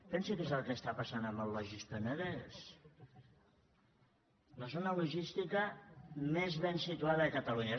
pensi què és el que està passant amb el logis penedès la zona logística més ben situada de catalunya